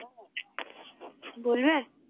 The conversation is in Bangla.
বলবে?